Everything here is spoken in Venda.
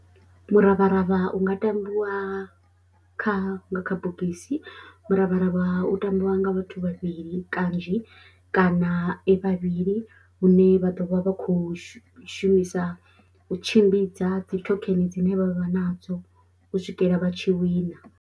Muravharavha u nga tambiwa kha nga kha bogisi, muravharavha u tambiwa nga vhathu vhavhili kanzhi kana e vhavhili hune vha ḓo vha vha khou shumisa u tshimbidza dzi thokheni dzine vha vha nadzo u swikela vha tshi wina.